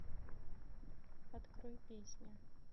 открой песня